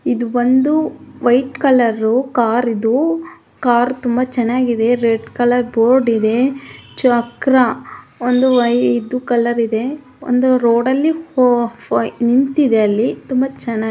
ಇದ್ ಬಂದು white colour car ಇದು ಕಾರ್ ತುಂಬಾ ಚೆನ್ನಾಗಿದೆ ರೆಡ್ ಕಲರ್ ಬೋರ್ಡ್ ಇದೆ ಚಕ್ರ ಒಂದು ಬಿಳಿ ಕಲರ್ ಇದೆ ಅದು ಒಂದು ರೋಡಲ್ಲಿ ನಿಂತಿದೆ. ತುಂಬಾ ಚೆನ್ನಾಗಿ --